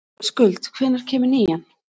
Skuld, hvenær kemur nían?